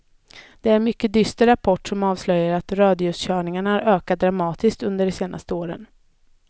Det är en mycket dyster rapport som avslöjar att rödljuskörningarna har ökat dramatiskt under de senaste åren.